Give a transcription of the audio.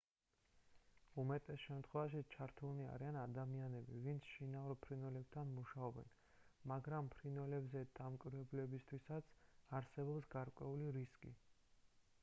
უმეტეს შემთხვევაში ჩართულნი არიან ადამიანები ვინც შინაურ ფრინველებთან მუშაობენ მაგრამ ფრინველებზე დამკვირვებლებისთვისაც არსებობს გარკვეული რისკი